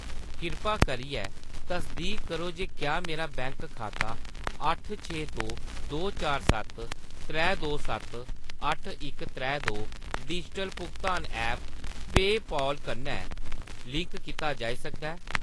किरपा करियै तसदीक करो जे क्या मेरा बैंक खाता अट्ठ छे दो दो चार सत्त त्रै दो सत्त अट्ठ इक त्रै दो डिजिटल भुगतान ऐप्प पेऽपाल कन्नै लिंक कीता जाई सकदा ऐ ?